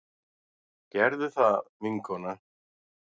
Gerðu það, vinkona!